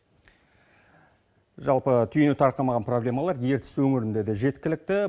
жалпы түйіні тарқамаған проблемалар ертіс өңірінде де жеткілікті